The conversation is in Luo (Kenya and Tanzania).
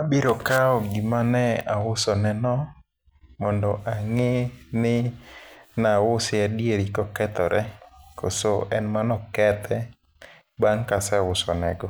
Abiro kawo gima ne ausoneno mondo ang'i ni nause adieri kokethore koso en mano kethe bang' kaseuso nego.